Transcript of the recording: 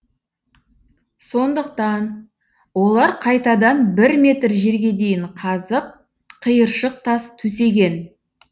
сондықтан олар қайтадан бір метр жерге дейін қазып қиыршық тас төсеген